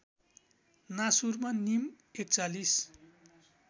नासूरमा नीम ४१